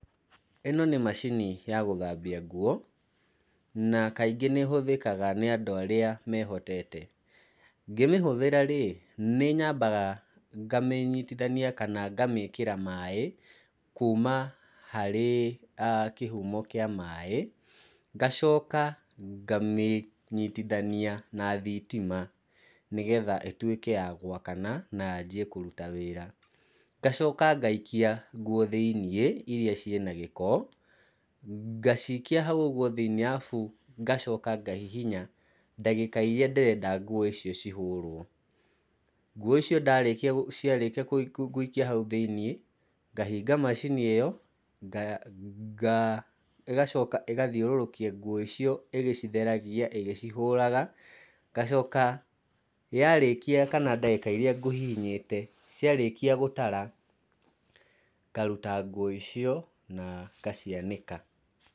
Ĩno nĩ macini ya gũthambia nguo, na kaingĩ nĩ ĩhũthĩkaga nĩ andũ arĩa mehotete. Ngĩmĩhũthĩra-rĩ, nĩnyambaga ngamĩnyitithania kana ngamĩkĩra maĩ, kuma harĩ kĩhumo kĩa maĩ. Ngacoka ngamĩnyitithania na thitima, nĩgetha ĩtuĩke ya gwakana na yanjie kũruta wĩra. Ngacoka ngaikia nguo thĩiniĩ iria ciĩna gĩko, ngacikia hau ũguo thĩiniĩ arabu ngacoka ngahihinya ndagĩka iria ndĩrenda nguo icio cihũrwo. Nguo icio ndarĩkia ciarĩkia gũikia hau thĩiniĩ, ngahinga macini ĩyo, nga ĩgacoka ĩgathiũrũrũkia nguo icio ĩgĩcitheragia ĩgĩcihũraga. Ngacoka yarĩkia kana ndagĩka iria ngũihinyĩte, ciarĩkia gũtara ngaruta nguo icio na ngacianĩka.